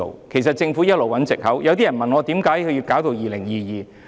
其實政府一直在找藉口，有些人問我，為何要待2022年才實行？